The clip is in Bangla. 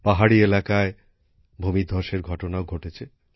পাহাড়ি এলাকায় ভূমিধ্বসের ঘটনাও ঘটেছে